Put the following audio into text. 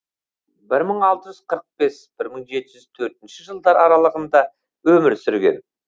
бір мың алты жүз қырық бес бір мың жеті жүз төртінші жылдар аралығында өмір сүрген